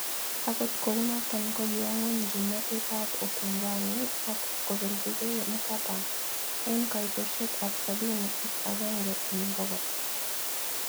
Agot kounoton kogiwo nyweny gimnotet abupinzani akobelijgei Mkapa en koitosiek ab sabini ak agenge en bogol.